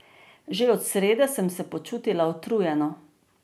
Že od srede sem se počutila utrujeno.